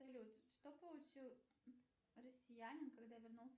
салют что получил россиянин когда вернулся